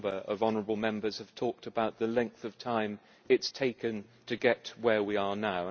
A number of honourable Members have talked about the length of time it has taken to get where we are now.